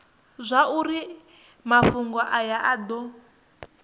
zwauri mafhungo aya a do